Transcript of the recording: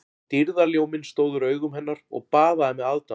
Dýrðarljóminn stóð úr augum hennar og baðaði mig aðdáun